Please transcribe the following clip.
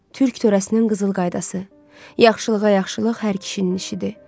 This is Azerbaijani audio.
Türk törəsinin qızıl qaydası: Yaxşılığa yaxşılıq hər kişinin işidir.